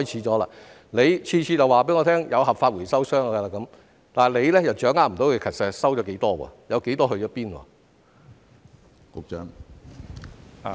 局長每次都告訴我有合法回收商，卻又掌握不到實際回收了多少，有多少到哪裏去了。